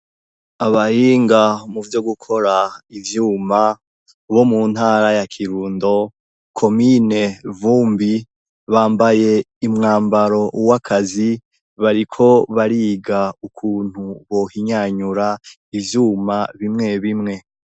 Abahinga mu vyo gukora ivyuma bo mu ntara ya kirundo komine vumbi bambaye imwambaro w'akazi bariko bariga ukuntu bohinyanyura ivyuma bimwe bimwe.